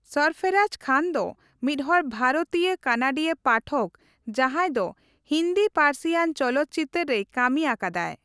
ᱥᱚᱨᱯᱷᱚᱨᱟᱡ ᱠᱷᱟᱱ ᱫᱚ ᱢᱤᱫᱦᱚᱲ ᱵᱷᱟᱨᱚᱛᱤᱭᱟᱹᱼᱠᱟᱱᱟᱰᱤᱭᱟᱹ ᱯᱟᱴᱷᱚᱠ ᱡᱟᱦᱟᱸᱭ ᱫᱚ ᱦᱤᱱᱫᱤ ᱯᱟᱹᱨᱥᱤᱭᱟᱱ ᱪᱚᱞᱚᱛ ᱪᱤᱛᱟᱹᱨ ᱨᱮᱭ ᱠᱟᱹᱢᱤ ᱟᱠᱟᱫᱟᱭ ᱾